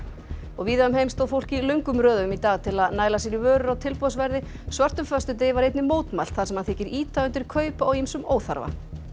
víða um heim stóð fólk í löngum röðum í dag til að næla sér í vörur á tilboðsverði svörtum föstudegi var einnig mótmælt þar sem hann þykir ýta undir kaup á ýmsum óþarfa